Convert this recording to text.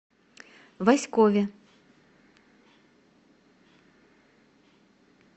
васькове